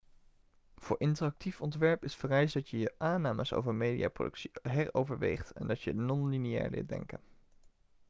voor interactief ontwerp is vereist dat je je aannames over mediaproductie heroverweegt en dat je non-lineair leert denken